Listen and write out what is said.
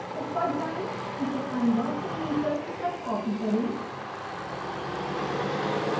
ऊपर जाएँ इसे converttometers तक कॉपी करें